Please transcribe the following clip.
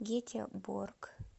гетеборг